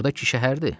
Burdakı şəhərdir.